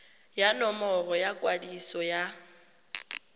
ya nomoro ya kwadiso ya